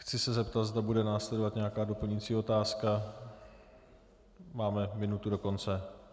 Chci se zeptat, zda bude následovat nějaká doplňující otázka, máme minutu do konce.